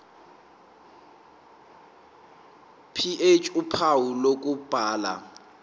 ph uphawu lokubhala